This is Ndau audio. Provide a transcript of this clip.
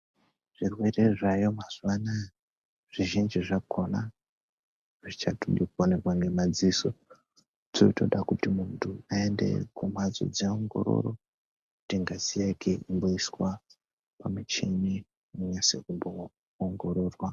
Zvirwere zvaayo mazuwa anaya zvizhinji zvakona hazvichadi kuonekwa nemaziso zvotoda kuti muntu aende kumhatso dzeongororo kuti ngazi yake imboiswa pamuchini inase kumboongororwa.